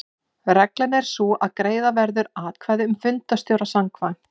Reglan er sú að greiða verður atkvæði um fundarstjóra samkvæmt